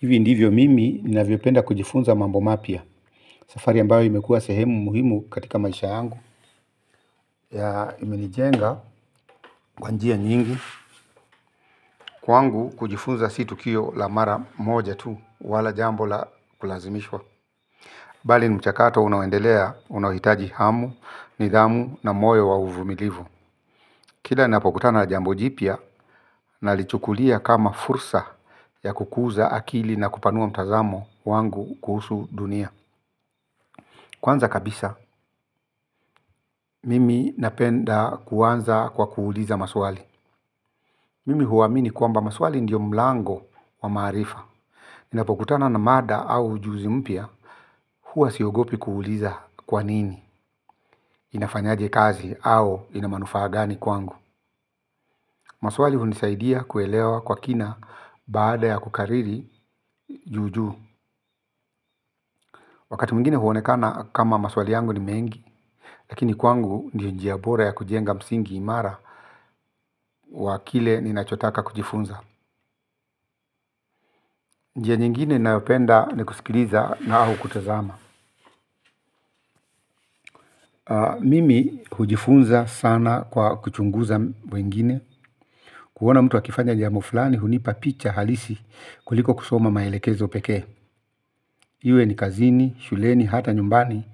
Hivi ndivyo mimi ninavyopenda kujifunza mambo mapya safari ambayo imekuwa sehemu muhimu katika maisha yangu ya imenijenga kwa njia nyingi kwangu kujifunza si tukio la mara moja tu wala jambo la kulazimishwa bali ni mchakato unaoendelea unaohitaji hamu, nidhamu na moyo wa uvumilivu kila ninapokutana jambo jipya na lichukulia kama fursa ya kukuza akili na kupanua mtazamo wangu kuhusu dunia. Kwanza kabisa, mimi napenda kuanza kwa kuuliza maswali. Mimi huamini kwamba maswali ndiyo mlango wa maarifa. Ninapokutana na mada au ujuzi mpya huwasiogopi kuuliza kwanini. Inafanyaje kazi au inamanufaa gani kwangu. Maswali hunisaidia kuelewa kwa kina. Baada ya kukariri juu juu wakati mwingine huonekana kama maswali yangu ni mengi. Lakini kwangu ndiyo njia bora ya kujenga msingi imara wa kile ninachotaka kujifunza nji nyingine ninayopenda ni kusikiliza na au kutazama. Mimi hujifunza sana kwa kuchunguza wengine. Kuona mtu akifanya jambo flani hunipa picha halisi kuliko kusoma maelekezo peke. Iwe ni kazini, shuleni, hata nyumbani.